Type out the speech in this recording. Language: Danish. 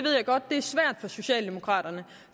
er socialdemokraterne